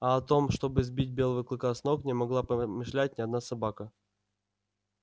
а о том чтобы сбить белого клыка с ног не могла помышлять ни одна собака